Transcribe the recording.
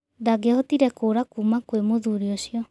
Ndangiahotire kũũra kuuma kwĩ mũthuri ũcio.